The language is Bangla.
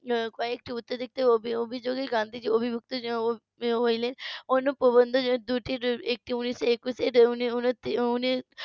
কয়েকটি উত্তেজিত অভিযোগ এ গান্ধীজি অবিভুত হইলেন অন্য প্রবন্ধ দুটির একটি উনিশশো একুশে উনিশ